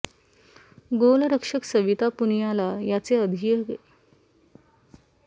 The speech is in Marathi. गोलरक्षक सविता पुनियाला याचे अधिक श्रेय द्यायला हवे